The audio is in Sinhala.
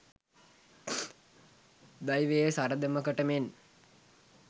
දෛවයේ සරදමකට මෙන්